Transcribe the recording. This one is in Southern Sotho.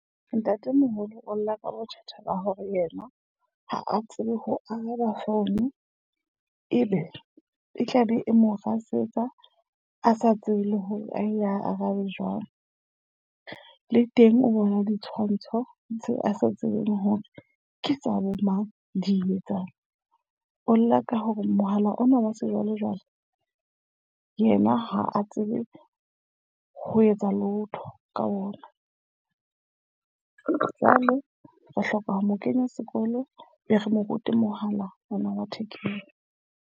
Ntatemoholo o lla ka bothata ba hore yena ha a tsebe ho araba founu. Ebe e tlabe e mo rasetsa, a sa tsebe le hore a e a arabe jwang. Le teng o bona ditshwantsho tse a sa tsebeng hore ke tsa bo mang di etsang. O lla ka hore mohala ona wa sejwalejwale yena ha a tsebe ho etsa lotho ka ona. Jwale re hloka ho mo kenya sekolo, be re mo rute mohala ona wa thekeng.